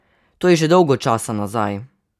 To je že dolgo časa nazaj!